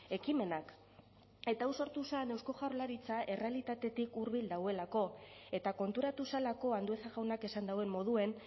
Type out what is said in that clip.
ekimenak eta hau sortu zen eusko jaurlaritza errealitatetik hurbil dagoelako eta konturatu zelako andueza jaunak esan duen moduan